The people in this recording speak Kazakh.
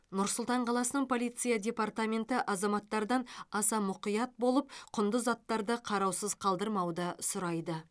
нұр сұлтан қаласының полиция департаменті азаматтардан аса мұқият болып құнды заттарды қараусыз қалдырмауды сұрайды